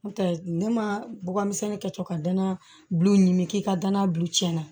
N'o tɛ ne ma bɔgɔmisɛnnin kɛ cɔ ka danaya bulon ni k'i ka danaya bu tiɲa